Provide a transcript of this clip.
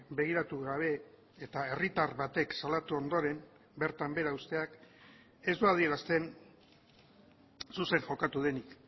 begiratu gabe eta herritar batek salatu ondoren bertan behera uzteak ez du adierazten zuzen jokatu denik